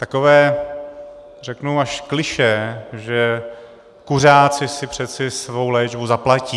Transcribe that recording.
Takové řeknu až klišé, že kuřáci si přeci svou léčbu zaplatí.